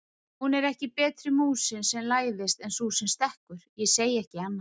Hún er ekki betri músin sem læðist en sú sem stekkur, ég segi ekki annað!